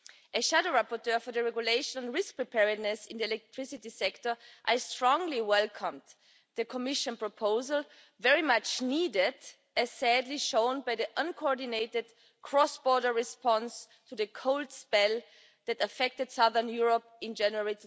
As shadow rapporteur for the regulation of risk preparedness in the electricity sector, I strongly welcomed the Commission's proposal, which is very much needed, as was sadly shown by the uncoordinated cross border response to the cold spell that affected southern Europe in January